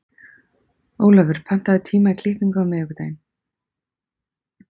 Olavur, pantaðu tíma í klippingu á miðvikudaginn.